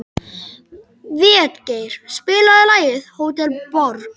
Végeir, spilaðu lagið „Hótel Borg“.